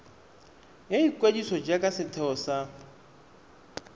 ya ikwadiso jaaka setheo sa